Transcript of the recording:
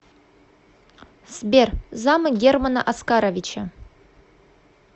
сбер замы германа оскаровича